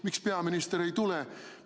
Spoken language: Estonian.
Miks peaminister ei tule?